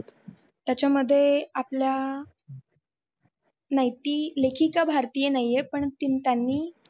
त्याच्यामध्ये आपल्या नाही ती लेखिका भारतीय नाहीये पण त्यांनी